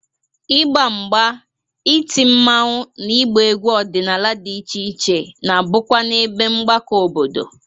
Ịgba mgba, iti mmanwụ na ịgba egwu ọdịnala dị iche iche na-abụkwa n'ebe mgbakọ obodo.